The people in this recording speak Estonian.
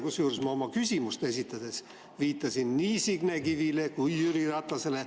Kusjuures, ma oma küsimust esitades viitasin nii Signe Kivile kui Jüri Ratasele.